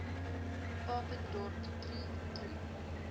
papendorp troe troe